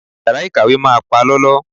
Yàrá ìkàwé máa palọ́lọ́.